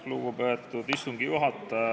Lugupeetud istungi juhataja!